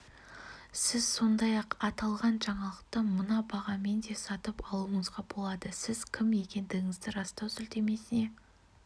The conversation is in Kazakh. сіз сондай-ақ аталған жаңалықты мына бағамен де сатып алуыңызға болады сіз кім екендігіңізді растау сілтемесіне